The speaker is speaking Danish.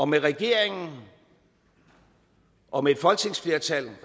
med regeringen og et folketingsflertal